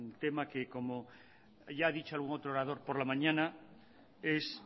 tema que como ya ha dicho algún otro orador por la mañana es